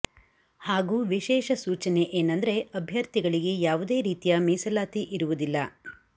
ಹಾಗೂ ವಿಶೇಷ ಸೂಚನೆ ಏನಂದ್ರೆ ಅಭ್ಯರ್ಥಿಗಳಿಗೆ ಯಾವುದೇ ರೀತಿಯ ಮೀಸಲಾತಿ ಇರುವುದಿಲ್ಲ